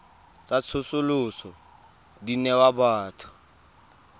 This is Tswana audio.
tsa tsosoloso di newa batho